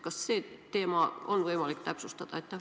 Kas seda teemat on võimalik täpsustada?